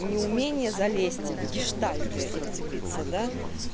неумение залезть в гештальты и вцепиться да